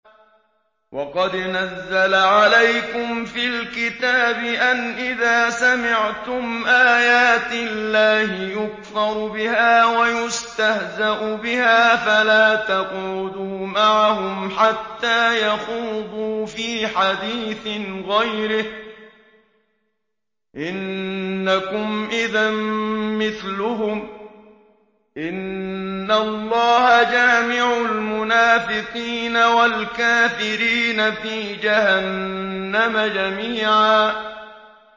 وَقَدْ نَزَّلَ عَلَيْكُمْ فِي الْكِتَابِ أَنْ إِذَا سَمِعْتُمْ آيَاتِ اللَّهِ يُكْفَرُ بِهَا وَيُسْتَهْزَأُ بِهَا فَلَا تَقْعُدُوا مَعَهُمْ حَتَّىٰ يَخُوضُوا فِي حَدِيثٍ غَيْرِهِ ۚ إِنَّكُمْ إِذًا مِّثْلُهُمْ ۗ إِنَّ اللَّهَ جَامِعُ الْمُنَافِقِينَ وَالْكَافِرِينَ فِي جَهَنَّمَ جَمِيعًا